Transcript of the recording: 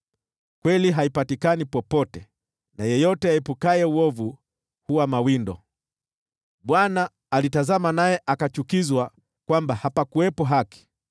Kweli haipatikani popote, na yeyote aepukaye uovu huwa mawindo. Bwana alitazama naye akachukizwa kwamba hapakuwepo haki.